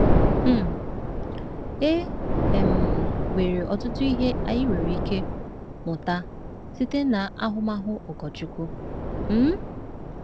um E um nwere ọtụtụ ihe anyị nwere ike mụta site n’ahụmahụ Ogorchukwu. um